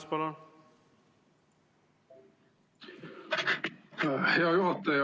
Hea juhataja!